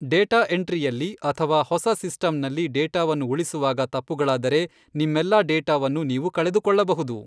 Data ಎಂಟ್ರಿಯಲ್ಲಿ ಅಥವಾ ಹೊಸ ಸಿಸ್ಟಂನಲ್ಲಿ ಡೇಟಾವನ್ನು ಉಳಿಸುವಾಗ ತಪ್ಪುಗಳಾದರೆ, ನಿಮ್ಮೆಲ್ಲಾ ಡೇಟಾವನ್ನು ನೀವು ಕಳೆದುಕೊಳ್ಳಬಹುದು.